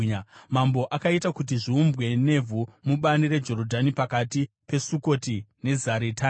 Mambo akaita kuti zviumbwe nevhu mubani reJorodhani pakati peSukoti neZaretani.